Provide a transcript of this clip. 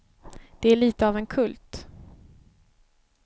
Det är lite av en kult.